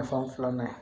filanan